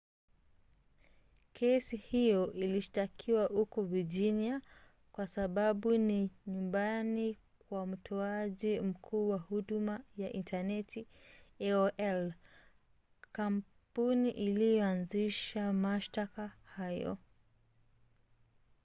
kesi hiyo ilishtakiwa huko virginia kwa sababu ni nyumbani kwa mtoaji mkuu wa huduma ya intaneti aol kampuni iliyoanzisha mashtaka hayo